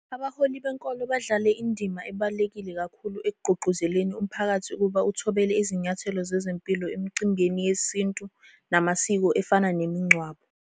Abaholi benkolo badlale indima ebaluleke kakhulu ekugqugquzeleni umphakathi ukuthi uthobele izinyathelo zezempilo emicimbini yesintu namasiko efana nemingcwabo.